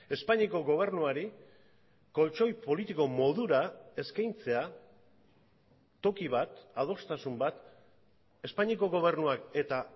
espainiako gobernuari koltxoi politiko modura eskaintzea toki bat adostasun bat espainiako gobernuak eta